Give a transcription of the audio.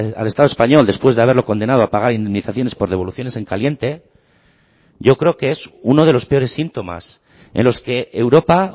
al estado español después de haberlo condenado a pagar indemnizaciones por devoluciones en caliente yo creo que es uno de los peores síntomas en los que europa